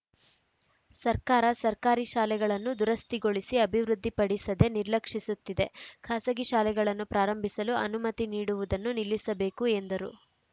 ಸರ್ಕಾರ ಸರ್ಕಾರಿ ಶಾಲೆಗಳನ್ನು ದುರಸ್ಥಿಗೊಳಿಸಿ ಅಭಿವೃದ್ಧಿ ಪಡಿಸದೆ ನಿರ್ಲಕ್ಷಿಸುತ್ತಿದೆ ಖಾಸಗಿ ಶಾಲೆಗಳನ್ನು ಪ್ರಾರಂಭಿಸಲು ಅನುಮತಿ ನೀಡುವುದನ್ನು ನಿಲ್ಲಿಸಬೇಕು ಎಂದರು